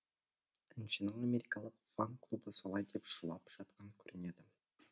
әншінің америкалық фан клубы солай деп шулап жатқан көрінеді